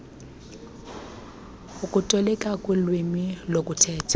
okutolikela kulwimi lokuthetha